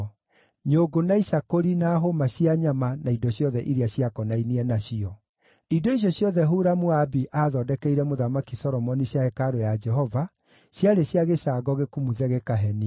nyũngũ, na icakũri, na hũũma cia nyama, na indo ciothe iria ciakonainie nacio. Indo icio ciothe Huramu-Abi aathondekeire Mũthamaki Solomoni cia hekarũ ya Jehova, ciarĩ cia gĩcango gĩkumuthe gĩkahenia.